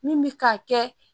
Min bɛ ka kɛ